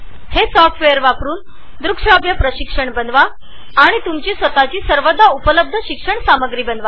हे सॉफ्टवेअर वापरुन तुम्ही स्वतचे द्रुकश्राव्य प्रशिक्षण आणि ऑनलाइन व्हिज्यूअल लर्निंग मॉड्युल्स बनवा